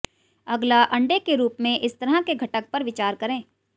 अगला अंडे के रूप में इस तरह के घटक पर विचार करें